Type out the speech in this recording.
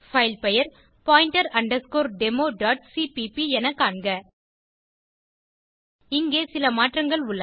file பெயர் pointer underscore demoசிபிபி என காண்க இங்கே சில மாற்றங்கள் உள்ளன